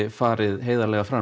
farið heiðarlega fram